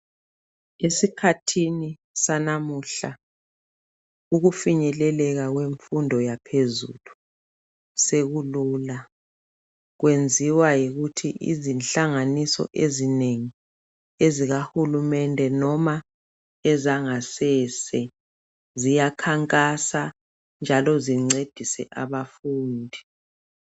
Esikhathini sanamuhla, ukufinyeleleka kwemfundo yaphezulu, sekulula. Kwenziwa yikuthi inhlanganiso ezinengi, ezikahulunende, kumbe ezangasese, ziyakhanjas, njalo zincedise abafundi.